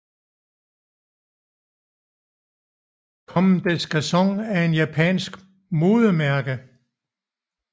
Comme des Garçons er er et japansk modemærke